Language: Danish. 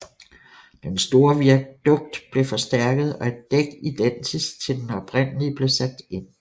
Den store viadukt blev forstærket og et dæk identisk til den oprindelige blev sat ind